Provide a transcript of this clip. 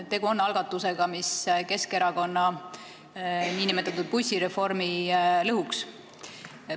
Tegu on algatusega, mis Keskerakonna nn bussireformi lõhuks.